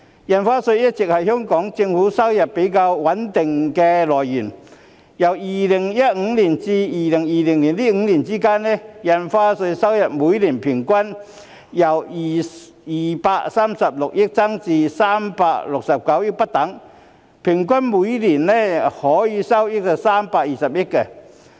印花稅一直是香港政府收入比較穩定的來源，由2015年至2020年的5年間，印花稅收入每年平均由236億元至369億元不等，平均每年收益為320億元。